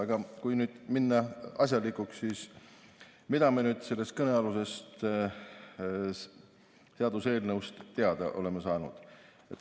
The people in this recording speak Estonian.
Aga kui nüüd minna asjalikuks, siis mida me sellest kõnealusest seaduseelnõust teada oleme saanud?